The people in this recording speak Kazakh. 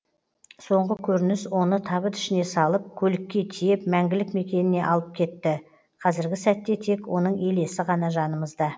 соңғы көрініс оны табыт ішіне салып көлікке тиеп мәңгілік мекеніне алып кетті қазіргі сәтте тек оның елесі ғана жанымызда